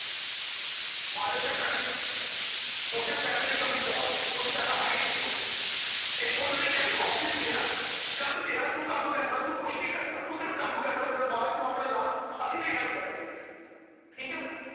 Partner Ship ਕਰਲੀ। ਉਸ Time ਪੈਸਿਆਂ ਦੀ ਕਮੀ ਬਹੁਤ ਸੀ। ਕਿਓਂਕਿ ਪੈਸਾ ਹੈ ਹੀ ਨਹੀਂ ਸੀ ਕੋਲ। ਤੇ ਹੁਣ ਨੇ ਕਿਹਾ ਵੀ Office ਮੇਰਾ ਕੰਮ ਕੰਮ ਤੇਰਾ ਤੂੰ ਕੰਮ ਕਰਨਾ। ਤੂੰ ਕੁਛ ਨਹੀਂ ਕਰਨਾ ਤੂੰ ਸਿਰਫ ਕੰਮ ਕਰਨਾ ਦਿਮਾਗ ਤੂੰ ਆਵਦਾ ਲੈ ਅਸੀਂ ਤੇਰੀ Help ਕਰਾਂਗੇ। ਠੀਕ ਏ ਬਾਈ।